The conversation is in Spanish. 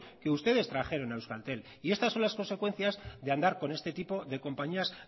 que ustedes trajeron a euskaltel y estas son las consecuencias de andarcon este tipo compañías